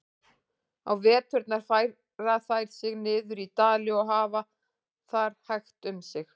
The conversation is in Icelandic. Á veturna færa þær sig niður í dali og hafa þar hægt um sig.